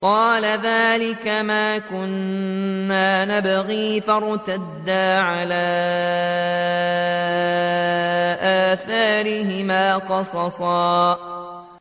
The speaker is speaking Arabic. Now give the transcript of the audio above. قَالَ ذَٰلِكَ مَا كُنَّا نَبْغِ ۚ فَارْتَدَّا عَلَىٰ آثَارِهِمَا قَصَصًا